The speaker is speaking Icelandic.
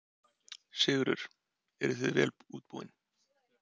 Sigurður: Eruð þið vel útbúin?